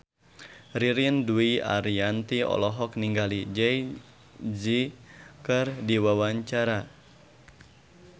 Ririn Dwi Ariyanti olohok ningali Jay Z keur diwawancara